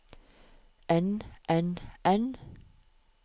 enn enn enn